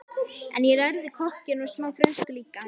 En ég lærði kokkinn og smá frönsku líka og